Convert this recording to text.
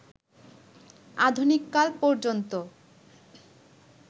আধুনিককাল পর্যন্ত